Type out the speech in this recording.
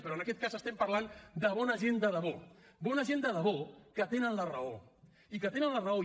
però en aquest cas estem parlant de bona gent de debò bona gent de debò que tenen la raó i que tenen la raó i